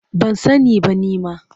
Ban sani ba nima.